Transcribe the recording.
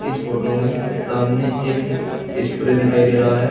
इस फोटो में सामने एक स्प्रे दिखाई दे रहा है।